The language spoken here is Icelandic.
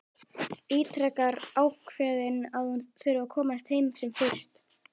Ítrekar ákveðin að hún þurfi að komast heim sem fyrst.